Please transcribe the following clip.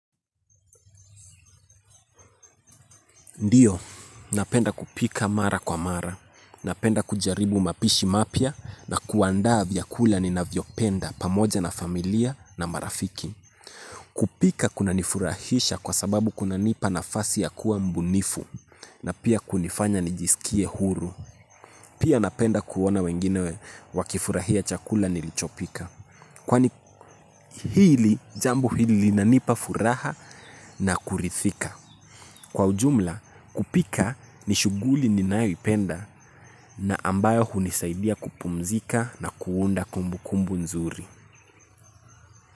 Ndiyo, napenda kupika mara kwa mara, napenda kujaribu mapishi mapya na kuandaa vyakula ninavyopenda pamoja na familia na marafiki. Kupika kuna nifurahisha kwa sababu kuna nipa nafasi ya kuwa mbunifu na pia kunifanya nijiskie huru. Pia napenda kuona wengine wakifurahia chakula nilichopika. Kwani hili, jambo hili linanipa furaha na kurithika. Kwa ujumla, kupika ni shughuli ninayoipenda na ambayo hunisaidia kupumzika na kuunda kumbukumbu nzuri.